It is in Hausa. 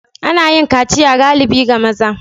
Ana yin kaciya galibi ga maza.